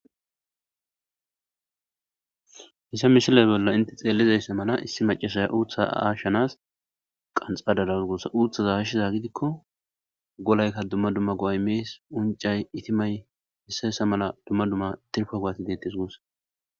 hissa mishilay bolla inte xeelizayssa mala issi macasaya uutha aashshanas qanxadadaz guossa uuthaza hashshiza gidikko golaykka dumma dumma goaymees uncay itimay hissayssa mala dumma dumma tirfa goati deettes guussa